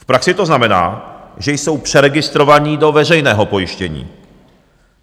V praxi to znamená, že jsou přeregistrovaní do veřejného pojištění.